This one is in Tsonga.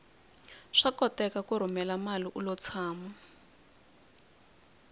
swa koteka ku rhumela mali ulo tshama